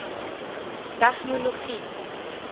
tegnologie